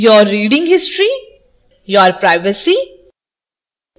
your reading history your privacy